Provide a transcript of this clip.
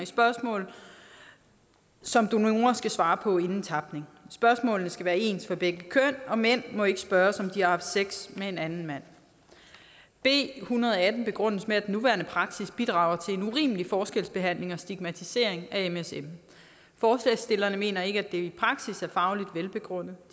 spørgsmål som donorer skal svare på inden tapning spørgsmålene skal være ens for begge køn og mænd må ikke spørges om de har haft sex med en anden mand b en hundrede og atten begrundes med at den nuværende praksis bidrager til en urimelig forskelsbehandling og stigmatisering af msm forslagsstillerne mener ikke at det i praksis er fagligt velbegrundet